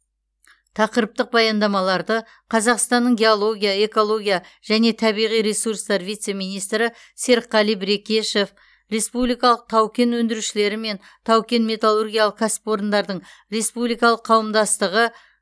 тақырыптық баяндамаларды қазақстанның геология экология және табиғи ресурстар вице министрі серікққали брекешев республикалық тау кен өндірушілері мен тау кен металлургиялық кәсіпорындардың республикалық қауымдастығы